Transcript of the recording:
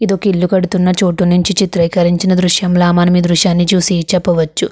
ఇదొక ఇల్లు కడుతున్న చోటు నుంచి చిత్రీకరించిన దృశ్యంలా మనమీ దృశ్యాన్ని చూసి చెప్పవచ్చు.